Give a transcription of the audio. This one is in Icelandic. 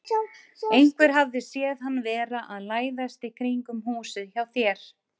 Einhver hafði séð hann vera að læðast í kringum húsið hjá þér.